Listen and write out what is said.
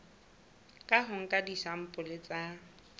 ka ho nka disampole tsa